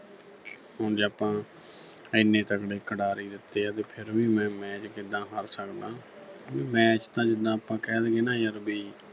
ਉਂਝ ਆਪਾਂ ਐਨੇ ਤਕੜੇ ਖਿਡਾਰੀ ਦਿੱਤੇ ਆ ਤੇ ਫਿਰ ਮੈਂ match ਕਿਦਾਂ ਹਾਰ ਸਕਦਾਂ ਮੈਚ ਤਾਂ ਜਿਦਾਂ ਆਪਾਂ ਕਹਿ ਦੇਈਏ ਨਾ ਯਰ ਵੀ